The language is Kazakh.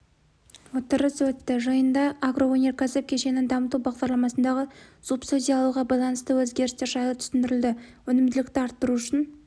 отырыс өтті жиында агроөнеркәсіп кешенін дамыту бағдарламасындағы субсидиялауға байланысты өзгерістер жайы түсіндірілді өнімділікті арттыру үшін